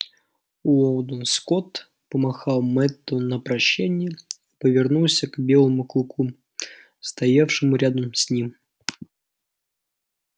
уидон скотт помахал мэтту на прощанье и повернулся к белому клыку стоявшему рядом с ним